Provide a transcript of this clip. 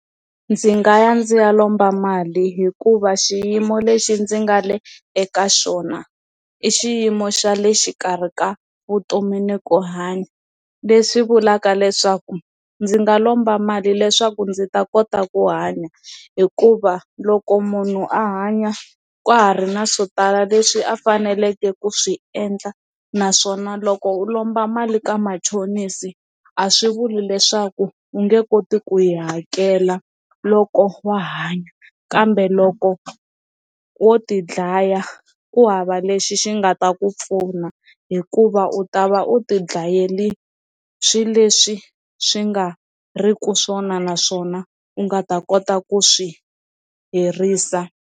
Ndzi nga ya ndzi ya lomba mali hikuva xiyimo lexi ndzi nga le eka xona i xiyimo xa le xikarhi ka vutomi ni ku hanya leswi vulaka leswaku ndzi nga lomba mali leswaku ndzi ta kota ku hanya hikuva loko munhu a hanya ka ha ri na swo tala leswi a faneleke ku swi endla naswona loko u lomba mali ka machonisi a swi vuli leswaku u nge koti ku yi hakela loko wa ha hanya kambe loko wo ti dlaya ku hava lexi xi nga ta ku pfuna fona hikuva u ta va u tidlayela swi leswi swi nga ri ku swona naswona u nga ta kota ku swi herisa.